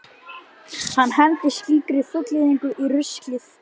Hann hendir slíkri fullyrðingu í ruslið.